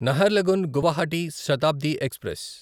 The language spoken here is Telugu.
నహర్లగున్ గువాహటి శతాబ్ది ఎక్స్ప్రెస్